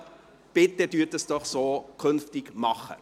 Bitte machen Sie dies doch künftig so.